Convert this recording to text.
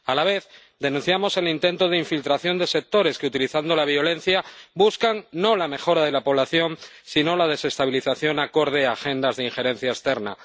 A la vez, denunciamos el intento de infiltración de sectores que, utilizando la violencia, buscan no la mejora de la población, sino la desestabilización acorde a agendas de injerencia externa.